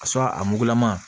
A sɔn a mugulama